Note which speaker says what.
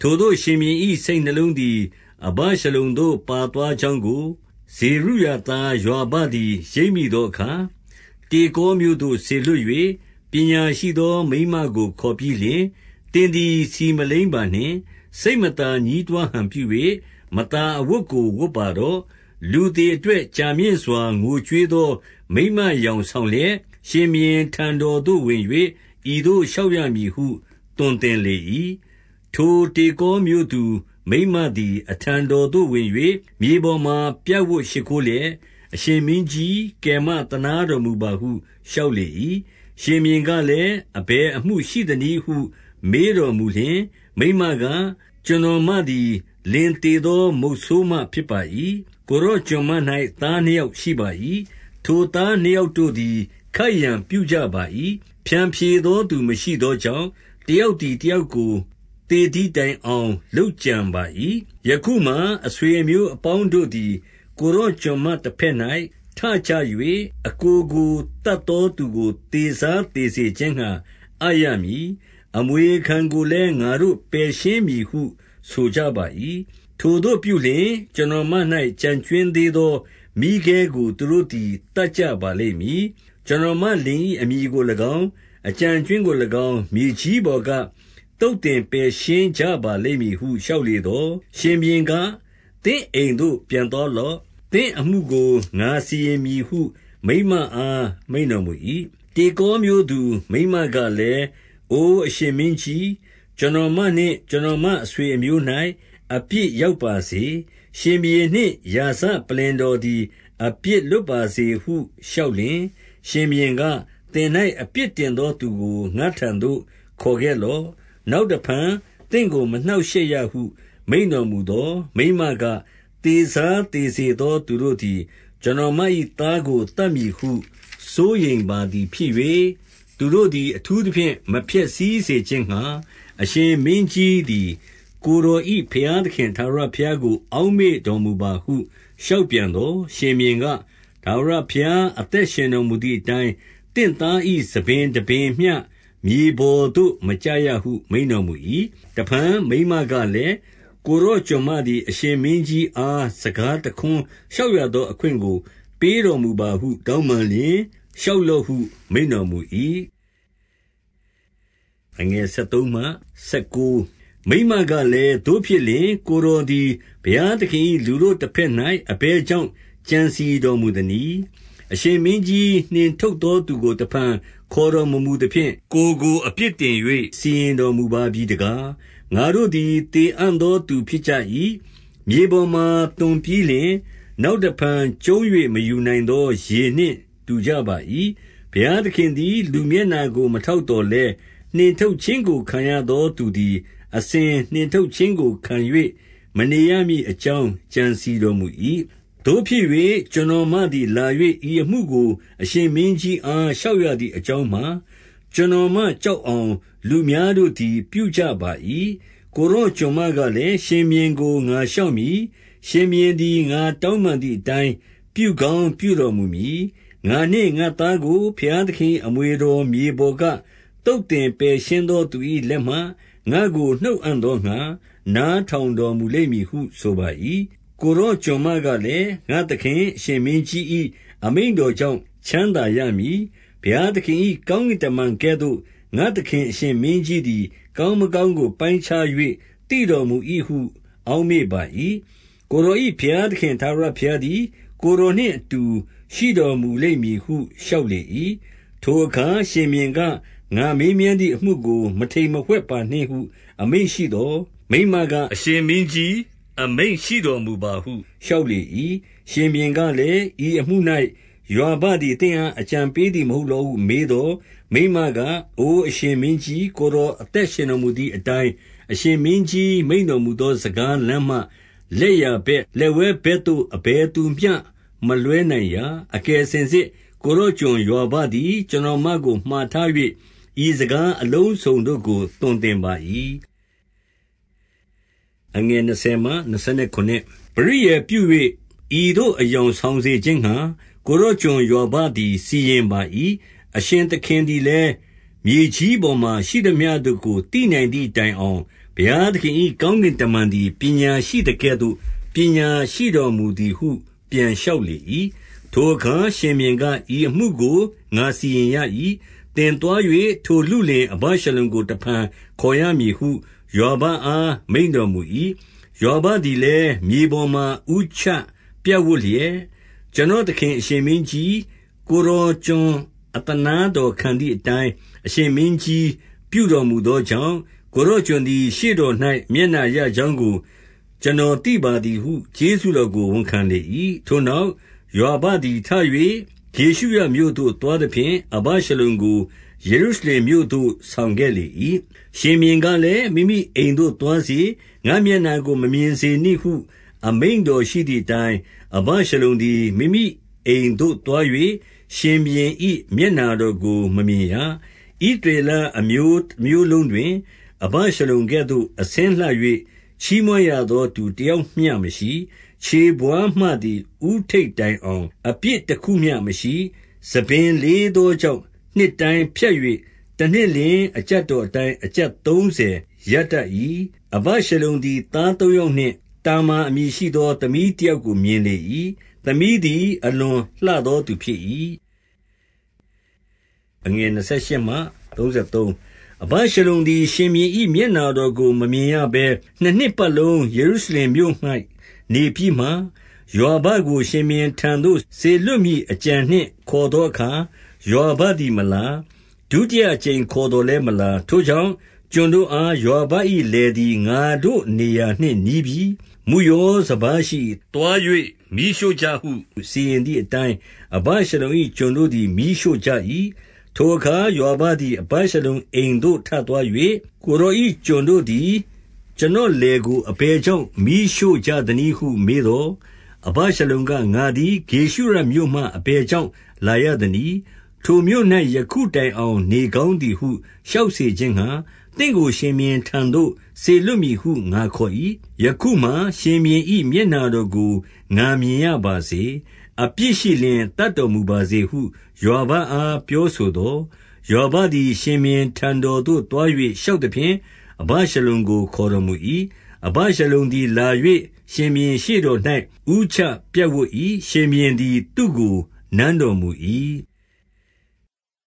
Speaker 1: ထိုသို့ရှင်ဘုရင်၏ စိတ်နှလုံးသည် အဗရှလုံသို့ ပါသွားကြောင်းကို ဇေရုယာသားယွာဘသည် ရိပ်မိသော အခါ၊ 2 တေကောမြို့သို့ စေလွှတ်၍ ပညာရှိသောမိန်းမကို ခေါ်ပြီးလျှင်၊ သင်သည် ဆီမလိမ်းပါနှင့်။ စိတ်မသာ ညည်းတွားဟန်ပြု၍ မသာအဝတ်ကို ဝတ်ပါတော့။ လူသေအတွက် ကြာမြင့်စွာ ငိုကြွေးသောမိန်းမယောင် ဆောင်လျက်၊ 3 ရှင်ဘုရင်ထံတော်သို့ဝင်၍ ဤသို့လျှောက်ရမည်ဟု သွန်သင်လေ၏။ 4 ထိုတေကောမြို့သူမိန်းမသည် အထံတော်သို့ ဝင်၍ မြေပေါ်မှာ ပြပ်ဝပ်ရှိခိုးလျက်၊ အရှင်မင်းကြီး၊ ကယ်မသနားတော်မူပါဟု လျှောက်လေ၏။ 5 ရှင်ဘုရင်ကလည်း၊ အဘယ်အမှုရှိသနည်းဟု မေးတော်မူလျှင် မိန်းမက၊ ကျွန်တော်မသည် လင်သေ သော မုတ်ဆိုးမဖြစ်ပါ၏။ 6 ကိုယ်တော်ကျွန်မ၌သားနှစ်ယောက်ရှိပါ၏။ ထိုသားနှစ်ယောက်တို့သည် ခိုက်ရန်ပြုကြပါ၏။ ဖျန်ဖြေ သောသူမရှိသောကြောင့် တယောက်သည် တယောက်ကို သေသည်တိုင်အောင် လုပ်ကြံပါ၏။ 7 ယခုမှာ အဆွေအမျိုးအပေါင်းတို့သည် ကိုယ်တော်ကျွန်မတဘက်၌ထကြ၍ အစ်ကိုကို သတ် သောသူကိုသေစားသေစေခြင်းငှါ အပ်ရမည်။ အမွေခံကိုလည်း ငါတို့ပယ်ရှင်းမည်ဟုဆိုကြပါ၏။ ထိုသို့ပြုလျှင်၊ ကျွန်တော်မ၌ ကျန်ကြွင်းသေးသောမီးခဲကို သူတို့သည် သတ်ကြပါလိမ့်မည်။ ကျွန်တော်မလင်၏အမည်ကို၎င်း၊ အကျန်အကြွင်းကို၎င်း၊ မြေကြီးပေါ်က သုတ်သင် ပယ်ရှင်းကြပါလိမ့်မည်ဟု လျှောက်လေသော်၊ 8 ရှင်ဘုရင်က သင့်အိမ်သို့ ပြန်သွားလော့။ သင့်အမှုကို ငါစီရင်မည်ဟု မိန်းမအား မိန့်တော်မူ၏။ 9 တေကောမြို့သူမိန်းမကလည်း၊ အိုအရှင်မင်းကြီး၊ ကျွန်တော်မနှင့် ကျွန်တော်မအဆွေအမျိုး၌ အပြစ်ရောက်ပါစေ။ ရှင်ဘုရင်နှင့် ရာဇပလ္လင်တော်သည် အပြစ်လွတ်ပါစေဟုလျှောက်လျှင်၊ 10 ရှင်ဘုရင်က၊ သင်၌အပြစ်တင်သောသူကို ငါ့ထံသို့ခေါ်ခဲ့လော့။ နောက်တဖန်သင့်ကို မနှောင့်ရှက်ရဟု မိန့်တော်မူသော်၊ 11 မိန်းမက၊ သေစားသေစေသောသူတို့သည် ကျွန်တော်မ၏သားကို သတ်မည်ဟု စိုးရိမ်ပါသည်ဖြစ်၍၊ သူတို့သည်အထူးသဖြင့် မဖျက်ဆီးစေခြင်းငှါ အရှင်မင်းကြီးသည် ကိုယ်တော်၏ ဘုရားသခင်ထာဝရဘုရားကို အောက်မေ့တော်မူပါဟု လျှောက်ပြန်သော်၊ ရှင်ဘုရင်က၊ ထာဝရဘုရား အသက်ရှင်တော်မူသည်အတိုင်း၊ သင့်သား ၏ဆံပင်တပင်မျှ မြေပေါ်သို့ မကျရဟု မိန့်တော်မူ၏။ 12 တဖန် မိန်းမကလည်း၊ ကိုယ်တော်ကျွန်မသည် အရှင်မင်းကြီးအား စကားတခွန်းလျှောက်ရသော အခွင့် ကို ပေးတော်မူပါဟု တောင်းပန်လျှင်၊ လျှောက်လော့ဟု မိန့်တော်မူ၏။ 13 မိန်းမကလည်း၊ သို့ဖြစ်လျှင် ကိုယ်တော်သည် ဘုရားသခင်၏ လူတို့တဘက်၌ အဘယ်ကြောင့် ကြံစည် တော်မူသနည်း။ အရှင်မင်းကြီးနှင်ထုတ်သော သူကို တဖန်ခေါ်တော်မမူသဖြင့်၊ ကိုယ်ကို အပြစ်တင်၍ စီရင် တော်မူပါပြီတကား။ 14 ငါတို့သည် သေအံ့သော သူဖြစ်ကြ၏။ မြေပေါ် မှာသွန်းပြီးလျှင် နောက်တဖန်ကျုံး၍ မယူနိုင်သောရေနှင့် တူကြပါ၏။ ဘုရားသခင်သည် လူမျက်နှာကို မထောက်သော်လည်း၊ နှင်ထုတ်ခြင်းကိုခံရသော သူသည် အစဉ် နှင်ထုတ်ခြင်းကို ခံ၍ မနေရမည်အကြောင်း ကြံစည် တော်မူ၏။ 15 သို့ဖြစ်၍ ကျွန်တော်မသည် လာ၍ဤအမှုကို အရှင်မင်းကြီးအား လျှောက်ရသည်အကြောင်းမှာ၊ ကျွန်တော်မကြောက်အောင် လူများတို့သည်ပြုကြပါ၏။ ကိုယ်တော်ကျွန်မကလည်း၊ ရှင်ဘုရင်ကို ငါလျှောက်မည်။ ရှင်ဘုရင်သည် ငါတောင်းပန်သည်အတိုင်း ပြုကောင်း ပြုတော်မူမည်။ 16 ငါနှင့်ငါ့သားကိုဘုရားသခင်၏ အမွေတော်မြေပေါ်က သုတ်သင်ပယ်ရှင်းသော သူ၏လက်မှ ငါ့ကို နှုတ်အံ့သောငှါ နားထောင်တော်မူလိမ့်မည်ဟု ဆိုပါ၏။ 17 ကိုယ်တော် ကျွန်မကလည်း၊ ငါ့သခင်အရှင်မင်းကြီး၏ အမိန့်တော်ကြောင့် ချမ်းသာရမည်။ ဘုရားသခင် ၏ကောင်းကင်တမန်ကဲ့သို့ ငါ့သခင်အရှင်မင်းကြီးသည် ကောင်းမကောင်းကို ပိုင်းခြား၍ သိတော်မူ၏ဟု အောက်မေ့ပါ၏။ ကိုယ်တော်၏ ဘုရားသခင်ထာဝရဘုရားသည် ကိုယ်တော်နှင့်အတူ ရှိတော်မူလိမ့်မည်ဟု လျှောက်လေ၏။ 18 ထိုအခါရှင်ဘုရင်က၊ ငါမေးမြန်းသည်အမှုကို မထိမ်မဝှက်ပါနှင့် ဟုအမိန့်ရှိသော်၊ မိန်းမက အရှင် မင်းကြီးအမိန့်ရှိတော်မူပါဟု လျှောက်လေ၏။ 19 ရှင်ဘုရင်ကလည်း၊ ဤအမှု၌ ယွာဘသည် သင့်အားအကြံပေးသည်မဟုတ်လောဟုမေးသော်၊ မိန်းမ က အိုအရှင်မင်းကြီး၊ ကိုယ်တော်အသက်ရှင်တော်မူသည်အတိုင်း၊ အရှင်မင်းကြီးမိန့်တော်မူသော စကားလမ်းမှ လက်ျာဘက်လက်ဝဲဘက်သို့ အဘယ်သူမျှမလွှဲနိုင်ရာ။ အကယ်စင်စစ် ကိုယ်တော်ကျွန်ယွာဘသည် ကျွန်တော် မကို မှာထား၍ ဤစကားအလုံးစုံတို့ကို သွန်သင်ပါ၏။ 20 ပရိယာယ်ပြု၍ ဤသို့အယောင်ဆောင်စေခြင်းငှါ ကိုယ်တော်ကျွန်ယွာဘသည် စီရင်ပါ၏။ အရှင်သခင် သည်လည်း မြေကြီးပေါ်မှာ ရှိသမျှတို့ကို သိနိုင်သည် တိုင်အောင် ဘုရားသခင်၏ ကောင်းကင်တမန်သည် ပညာရှိသကဲ့သို့ ပညာရှိတော်မူသည်ဟု ပြန်လျှောက် လေ၏။ 21 ထိုအခါရှင်ဘုရင်က၊ ဤအမှုကို ငါစီရင်ရ၏။ သင်သွား၍ ထို လုလင်အဗရှလုံကို တဖန်ခေါ်ရမည်ဟု ယွာဘအား မိန့်တော်မူ၏။ 22 ယွာဘသည်လည်း မြေပေါ်မှာ ဦးချပြပ်ဝပ်လျက်၊ ကျွန်တော်သခင်အရှင်မင်းကြီး၊ ကိုယ်တော်ကျွန် အသနားတော်ခံသည်အတိုင်း အရှင်မင်းကြီးပြုတော်မူသောကြောင့်၊ ကိုယ်တော်ကျွန်သည် ရှေ့တော်၌ မျက်နှာ ရကြောင်းကို ကျွန်တော်သိပါသည်ဟု ကျေးဇူးတော်ကို ဝန်ခံလေ၏။ 23 ထိုနောက် ယွာဘသည်ထ၍ ဂေရှုရမြို့သွားသဖြင့်၊ အဗရှလုံကို ယေရုရှလင်မြို့သို့ဆောင်ခဲ့လေ၏။ 24 ရှင်ဘုရင်ကလည်း၊ မိမိအိမ်သို့ သွားစေ။ ငါ့မျက်နှာကို မမြင်စေနှင့်ဟု အမိန့်တော်ရှိသည်အတိုင်း၊ အဗရှလုံသည် မိမိအိမ်သို့သွား၍ ရှင်ဘုရင်၏ မျက်နှာတော်ကို မမြင်ရ။ 25 ဣသရေလအမျိုး တမျိုးလုံးတွင် အဗရှလုံကဲ့သို့ အဆင်းလှ၍ ချီးမွမ်းရသော သူတယောက်မျှမရှိ။ ခြေဘဝါးမှသည် ဦးထိပ်တိုင်အောင် အပြစ်တခုမျှမရှိ။ 26 ဆံပင်လေးသောကြောင့်၊ နှစ်တိုင်းဖြတ်၍ တနှစ်လျှင် အကျပ်တော်အတိုင်း အကျပ်သုံးဆယ်ရတတ်၏။ 27 အဗရှလုံသည် သားသုံးယောက်နှင့် တာမာအမည်ရှိသော သမီးတယောက်ကိုမြင်လေ၏။ သမီးသည် အလွန်လှသောသူဖြစ်၏။ 28 အဗရှလုံသည် ရှင်ဘုရင်၏ မျက်နှာတော်ကို မမြင်ရဘဲနှစ်နှစ်ပတ်လုံး ယေရုရှလင်မြို့၌ နေပြီးမှ၊ 29 ယွာဘကိုရှင်ဘုရင်ထံတော်သို့ စေလွှတ်မည်အကြံနှင့် ခေါ်သောအခါ ယွာဘသည်မလာ။ 30 ဒုတိယအကြိမ်ခေါ်သော်လည်း မလာ။ ထိုကြောင့် ကျွန်တို့အား၊ ယွာဘ၏ လယ်သည် ငါတို့နေရာ နှင့်နီးပြီ။ မုယောစပါးရှိ၏။ သွား၍မီးရှို့ ကြဟု စီရင်သည်အတိုင်း အဗရှလုံ၏ကျွန်တို့သည် မီးရှို့ကြ၏။ 31 ထိုအခါ ယွာဘသည် အဗရှလုံအိမ်သို့ထသွား၍၊ ကိုယ်တော်၏ ကျွန်တို့သည် ကျွန်တော်လယ်ကို အဘယ် ကြောင့် မီးရှို့ကြသနည်းဟု မေးသော်၊ 32 အဗရှလုံက၊ ငါသည် ဂေရှုရမြို့မှအဘယ်ကြောင့် လာရသနည်း။ ထိုမြို့၌ ယခုတိုင်အောင် နေကောင်းသည်ဟု လျှောက်စေခြင်းငှါ၊ သင့်ကို ရှင်ဘုရင်ထံတော်သို့ စေလွှတ်မည်ဟု ငါခေါ်၏။ ယခုမှာ ရှင်ဘုရင်၏ မျက်နှာတော်ကို ငါမြင်ရပါစေ။ အပြစ်ရှိလျှင် သတ်တော်မူပါစေဟု ယွာဘအား ပြောဆိုသော်၊ 33 ယွာဘသည် ရှင်ဘုရင်ထံတော်သို့ သွား၍ လျှောက်သဖြင့်၊ အဗရှလုံကို ခေါ်တော်မူ၏။ အဗရှလုံ သည်လာ၍ ရှင်ဘုရင်ရှေ့တော်၌ ဦးချပြပ်ဝပ်၏။ ရှင်ဘုရင်သည် သူကိုနမ်းတော်မူ၏။